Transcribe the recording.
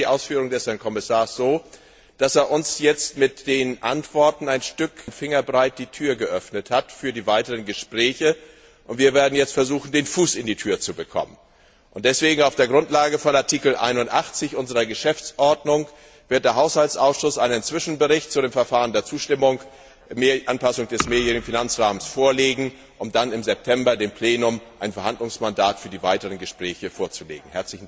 Ich verstehe die Ausführung des Herrn Kommissars so, dass er uns jetzt mit den Antworten einen Fingerbreit die Tür für die weiteren Gespräche geöffnet hat, und wir werden jetzt versuchen, den Fuß in die Tür zu bekommen. Deswegen wird auf der Grundlage von Artikel 81 unserer Geschäftsordnung der Haushaltsausschuss einen Zwischenbericht zu dem Verfahren der Zustimmung zur Anpassung des mehrjährigen Finanzrahmens vorlegen, um dann im September dem Plenum ein Verhandlungsmandat für die weiteren Gespräche vorzulegen.